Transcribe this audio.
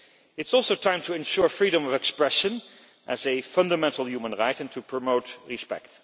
It is also time to ensure freedom of expression as a fundamental human right and to promote respect.